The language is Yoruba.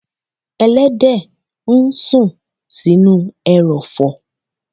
Ẹlẹ́dẹ̀ ń sùn sínú ẹrọ̀fọ̀.